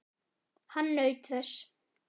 Hann naut þess.